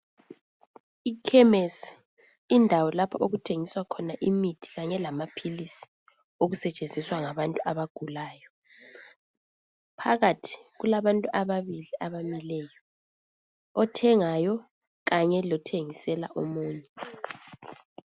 Ikhemesi, indawo lapho okuthengiswa khona imithi kanye lamaphilisi. Okusetshenziswa ngabantu abagulayo. Phakathi kulabantu ababili, abamileyo. Othengayo, kanye lothengisela omunye.